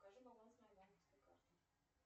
покажи баланс моей банковской карты